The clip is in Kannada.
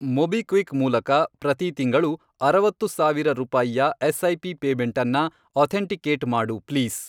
ಮೊಬಿಕ್ವಿಕ್ ಮೂಲಕ ಪ್ರತಿ ತಿಂಗಳು, ಅರವತ್ತು ಸಾವಿರ ರೂಪಾಯಿಯ ಎಸ್.ಐ.ಪಿ. ಪೇಮೆಂಟನ್ನ ಅಥೆಂಟಿಕೇಟ್ ಮಾಡು ಪ್ಲೀಸ್.